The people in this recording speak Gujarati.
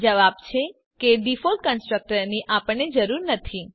જવાબ છે કે ડિફોલ્ટ કન્સ્ટ્રક્ટર ની આપણને જરૂર નથી